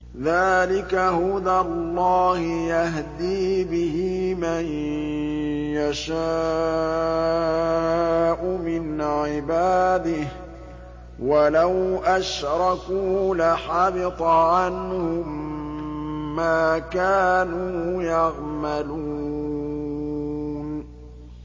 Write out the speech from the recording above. ذَٰلِكَ هُدَى اللَّهِ يَهْدِي بِهِ مَن يَشَاءُ مِنْ عِبَادِهِ ۚ وَلَوْ أَشْرَكُوا لَحَبِطَ عَنْهُم مَّا كَانُوا يَعْمَلُونَ